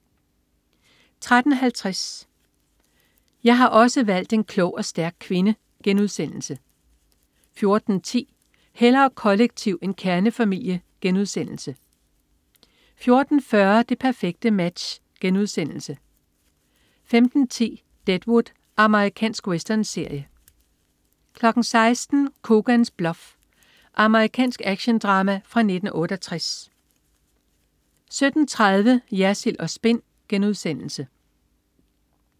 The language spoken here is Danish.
13.50 Jeg har også valgt en klog og stærk kvinde* 14.10 Hellere kollektiv end kernefamilie* 14.40 Det perfekte Match* 15.10 Deadwood. Amerikansk westernserie 16.00 Coogan's Bluff. Amerikansk actiondrama fra 1968 17.30 Jersild & Spin*